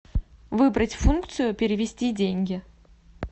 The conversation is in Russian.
выбрать функцию перевести деньги